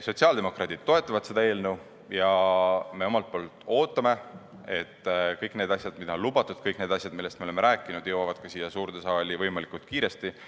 Sotsiaaldemokraadid toetavad seda eelnõu, aga me ootame, et kõik need asjad, mida on lubatud, ja kõik need asjad, millest me oleme rääkinud, jõuavad ka siia suurde saali võimalikult kiiresti.